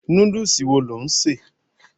Núdùsì wo lò ń ṣè?